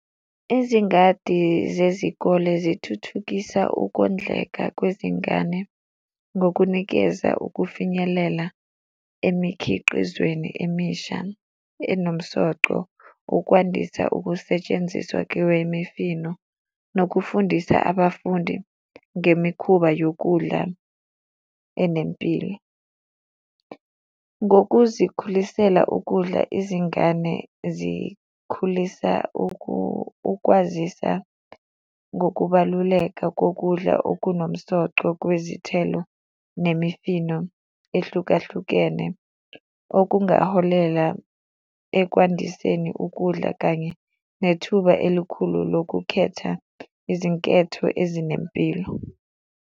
Izingadi zezikole zithuthukisa ukondleka kwezingane ngokunikeza ukufinyelela emikhiqizweni emisha enomsoco. Ukwandisa ukusetshenziswa kwemifino nokufundisa abafundi ngemikhuba yokudla enempilo. Ngokuzikhulisela ukudla izingane zikhulisa ukwazisa ngokubaluleka kokudla okunomsoco kwezithelo nemifino ehlukahlukene okungaholela ekwandiseni ukudla kanye nethuba elikhulu lokukhetha izinketho ezinempilo.